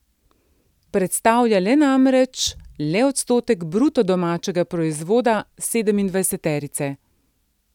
Predstavlja le namreč le odstotek bruto domačega proizvoda sedemindvajseterice.